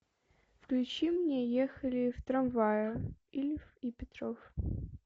включи мне ехали в трамвае ильф и петров